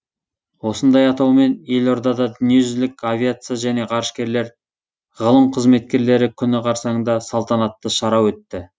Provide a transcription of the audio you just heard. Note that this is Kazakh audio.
осындай атаумен елордада дүниежүзілік авиация және ғарышкерлер ғылым қызметкерлері күні қарсаңында салтанатты шара өтті